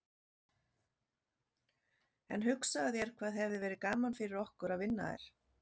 En hugsaðu þér hvað hefði verið gaman fyrir okkur að vinna þær.